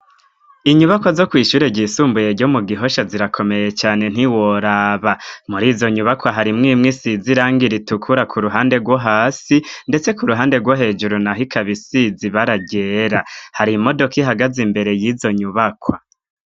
Inyubakwa zo kwishure gyisumbuye jyo mu gihosha zirakomeye cane ntiworaba muri izo nyubakwa hari mwimwe isizirang ir itukura ku ruhande rwo hasi ndetse ku ruhande rwo hejuru na hikabisizi baragera hari imodoka ihagaze imbere y'izo nyubakwa.